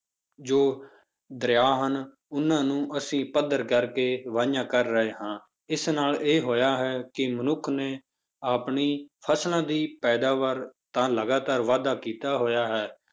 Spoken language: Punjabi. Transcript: ਜੋ ਦਰਿਆ ਹਨ, ਉਹਨਾਂ ਨੂੰ ਅਸੀਂ ਪੱਧਰ ਕਰਕੇ ਵਾਹੀਆਂ ਕਰ ਰਹੇ ਹਾਂ, ਇਸ ਨਾਲ ਇਹ ਹੋਇਆ ਹੈ, ਕਿ ਮਨੁੱਖ ਨੇ ਆਪਣੀ ਫਸਲਾਂ ਦੀ ਪੈਦਾਵਾਰ ਤਾਂ ਲਗਾਤਾਰ ਵਾਧਾ ਕੀਤਾ ਹੋਇਆ ਹੈ,